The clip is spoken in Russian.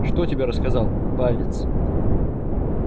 что тебе рассказал палец